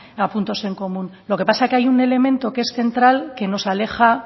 a puntos en común lo que pasa es que hay un elemento que es central que nos aleja